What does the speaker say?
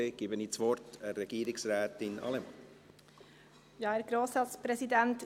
Dann gebe ich das Wort Regierungsrätin Allemann.